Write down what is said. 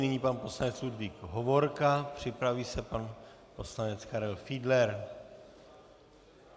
Nyní pan poslanec Ludvík Hovorka, připraví se pan poslanec Karel Fiedler.